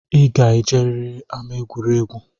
I ga-ejeriri ama egwuregwu!